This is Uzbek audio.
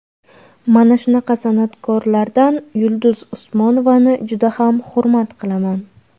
Mana shunaqa san’atkorlardan Yulduz Usmonovani juda ham hurmat qilaman.